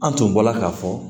An tun bɔla ka fɔ